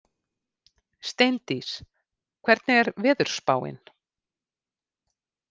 Steindís, hvernig er veðurspáin?